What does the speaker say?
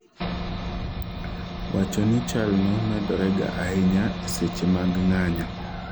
wacho ni chal no medore ga ahinya eseche mag ng'anyo